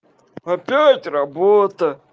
опять работа